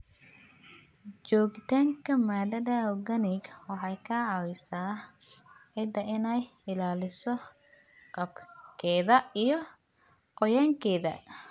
Joogitaanka maadada organic waxay ka caawisaa ciidda inay ilaaliso qaabkeeda iyo qoyaankeeda.